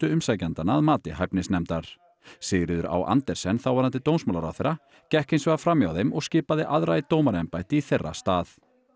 umsækjendanna að mati hæfnisnefndar Sigríður á Andersen þáverandi dómsmálaráðherra gekk hins vegar fram hjá þeim og skipaði aðra í dómaraembætti í þeirra stað